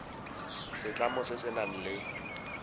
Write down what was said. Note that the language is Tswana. setlamo se se nang le